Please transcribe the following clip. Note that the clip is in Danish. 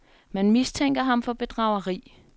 Man mistænker ham for bedrageri.